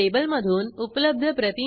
आपण admin section page वर जाऊ